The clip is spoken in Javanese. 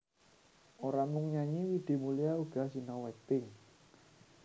Ora mung nyanyi Widi Mulia uga sinau akting